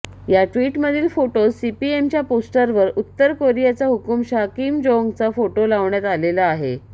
याट्विटमधील फोटोत सीपीएमच्या पोस्टरवर उत्तर कोरियाचा हुकुमशहा किम जोंगचा फोटो लावण्यात आलेला आहे